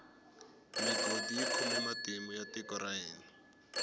migodi yi khome matimu ya tiko ra hina